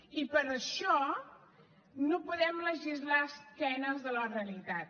i per això no podem legislar a esquena de la realitat